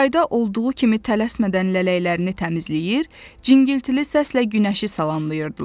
Yayda olduğu kimi tələsmədən lələklərini təmizləyir, cingiltili səslə günəşi salamlayırdılar.